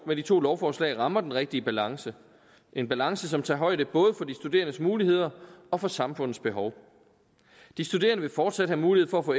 med de to lovforslag rammer den rigtige balance en balance som tager højde både for de studerendes muligheder og for samfundets behov de studerende vil fortsat have mulighed for at få